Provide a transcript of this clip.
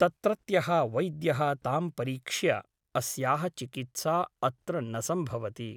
तत्रत्यः वैद्यः तां परीक्ष्य अस्याः चिकित्सा अत्र न सम्भवति ।